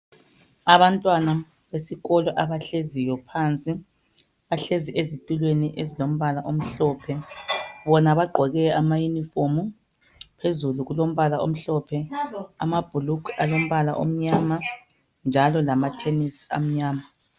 Abantwana besikolo abahleziyo phansi bahlezi ezitulweni ezilombala omhlophe bona bagqoke amayunifomu. Phezulu kulombala omhlophe, amabhulugwe alombala omnnyama njalo lamathenisi alombala omnyama.